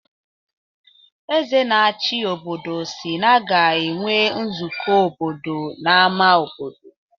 Eze na-achi obodo si na a ga-enwe nzukọ obodo n’ámá obodo.